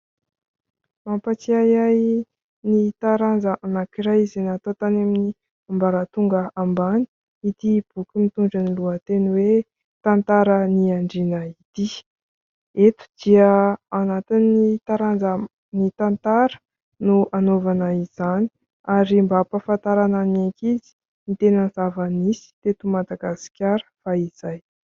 Mampatsiahy ahy ny taranja anankiray izay natao tany amin'ny ambaratonga ambany ity boky mitondra ny lohateny hoe : "tantaran'ny andriana ity", eto dia anatin'ny taranja "ny tantara" no hanaovana izany ary mba hampafantarana ny ankizy ny tena zavanisy teto Madagasikara fahizay.